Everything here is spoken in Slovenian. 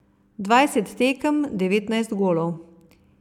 Dvajset tekem, devetnajst golov.